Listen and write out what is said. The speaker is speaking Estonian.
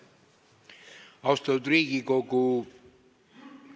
Austatud Riigikogu!